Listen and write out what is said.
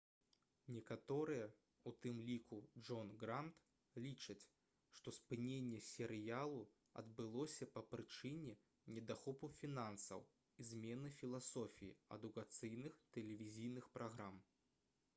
некаторыя у тым ліку джон грант лічаць што спыненне серыялу адбылося па прычыне недахопу фінансаў і змены філасофіі адукацыйных тэлевізійных праграм